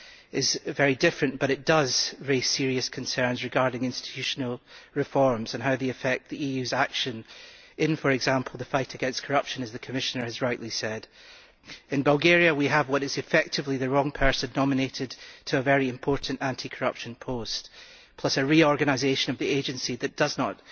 is very different, although it does raise serious concerns regarding institutional reforms and how they affect the EU's actions in, for example, the fight against corruption, as the Commissioner has rightly said. In Bulgaria we have what is effectively the wrong person nominated to a very important anti corruption post, plus a reorganisation of the agency that does not